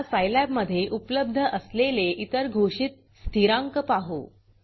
आता Scilabसाईलॅब मधे उपलब्ध असलेले इतर घोषित स्थिरांक पाहू